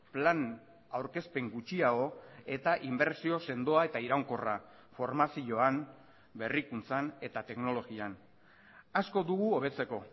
plan aurkezpen gutxiago eta inbertsio sendoa eta iraunkorra formazioan berrikuntzan eta teknologian asko dugu hobetzeko